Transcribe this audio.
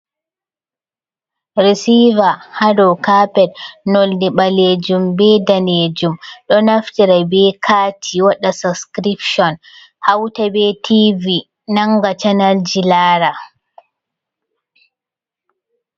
Resiver hado kapet nolɗi ɓalejum ɓe danejum, Ɗo naftira ɓe kati waɗa sascription hauta be tv nanga canalji lara.